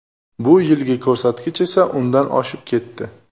Bu yilgi ko‘rsatkich esa undan oshib ketdi.